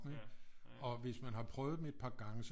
Og hvis man har prøvet dem et par gange så